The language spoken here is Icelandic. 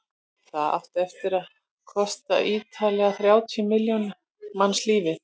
það átti eftir að kosta ríflega þrjátíu milljón manns lífið